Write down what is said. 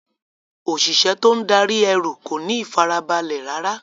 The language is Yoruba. Òṣìṣẹ́ tó ń darí ẹrú kò ní ìfarabalẹ̀ rárá.